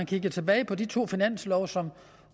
kigger tilbage på de to finanslove som